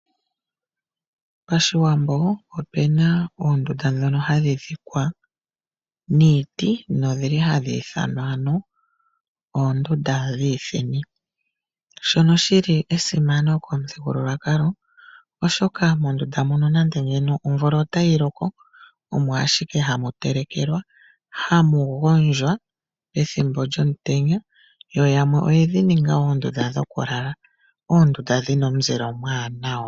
Pashiwambo opuna oondunda dhimwe ndhoka hadhidhikwa niiti noha dhi ithanwa oondundu dhiithini, ndhono dhili dhasima momuthigululwakalo gaawambo , oshaka moondunda muka ohamu vulu okutelekelwa pethimbo lyomvula mo ohamu vulu okugondjwa pethimbo lyomutenya, nayamwe oyedhininga onga oondunda dhokulala noondunda ndhika odhina omuzile omwaanawa.